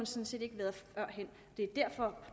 set ikke været førhen det er derfor